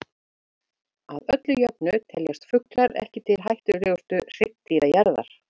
Að öllu jöfnu teljast fuglar ekki til hættulegustu hryggdýra jarðar.